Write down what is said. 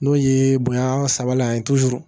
N'o ye bonya sabala ye